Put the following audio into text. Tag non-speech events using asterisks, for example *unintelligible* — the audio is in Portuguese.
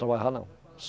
trabalhava não. *unintelligible*